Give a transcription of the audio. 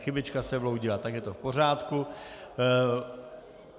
Chybička se vloudila, tak je to v pořádku.